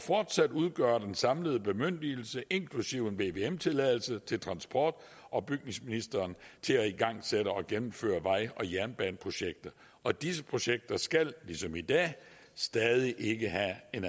fortsat udgøre den samlede bemyndigelse inklusive en vvm tilladelse til transport og bygningsministeren til at igangsætte og gennemføre vej og jernbaneprojekter og disse projekter skal ligesom i dag stadig ikke have en